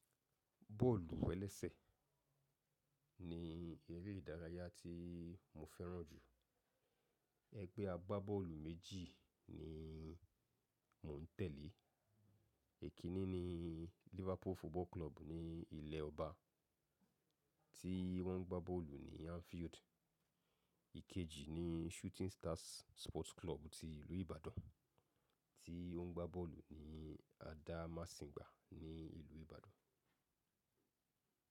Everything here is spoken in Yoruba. Bọ́ọ̀lù-ẹlẹ́sẹ̀ ní eré ìdárayá tí mo fẹ́ràn jù. Ẹgbẹ́ agbábọ́ọ̀lù méjì ni mò ń tẹ̀lé. Èkínní ni Liverpool Football Club ní ilẹ̀ ọba tí wọ́n ń gbá bọ́ọ̀lù ní Anfield. Ìkejì ni Shooting Stars Sports Club ti ìlú Ibadan tí ó ń gbá bọ́ọ̀lù ní Adamasingba ní ìlú Ibadan.